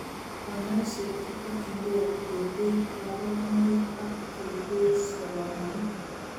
Kanyoiseet kotokyinkee keter kaborunoik ak keter salomonik